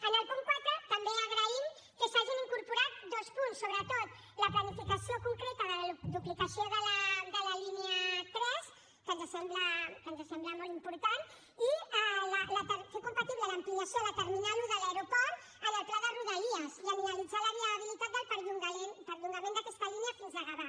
en el punt quatre també agraïm que s’hagin incorporat dos punts sobretot la planificació concreta de la duplicació de la línia tres que ens sembla molt important i fer compatible l’ampliació a la terminal un de l’aeroport amb el pla de rodalies i analitzar la viabilitat del perllongament d’aquesta línia fins a gavà